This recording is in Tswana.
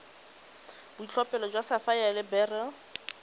boitlhophelo jwa sapphire le beryl